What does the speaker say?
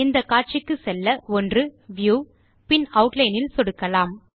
இந்த காட்சிக்கு செல்ல ஒன்று வியூ பின் ஆட்லைன் இல் சொடுக்கலாம்